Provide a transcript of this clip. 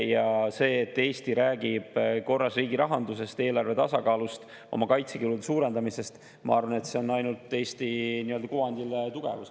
Ja see, et Eesti räägib korras riigirahandusest, eelarve tasakaalust, oma kaitsekulude suurendamisest, ma arvan, ainult tugevdab Eesti kuvandit.